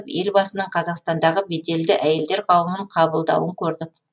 елбасының қазақстандағы беделді әйелдер қауымын қабылдауын көрдік